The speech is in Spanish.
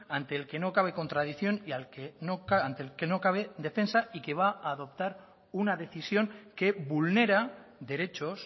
ante el que no cabe contradicción y ante el que no cabe defensa y que va a adoptar una decisión que vulnera derechos